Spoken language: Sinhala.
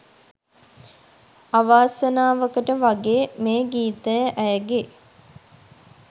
අවාසනාවකට වගේ මේ ගීතය ඇයගෙ